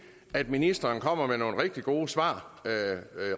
at ministeren kommer med nogle rigtig gode svar